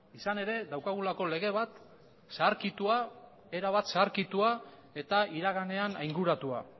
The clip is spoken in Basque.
izan ere daukagulako lege bat zaharkitua erabat zaharkitua eta iraganean ainguratua